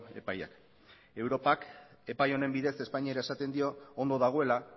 epaiak europak epai honen bidez espainiari esaten dio ondo dagoela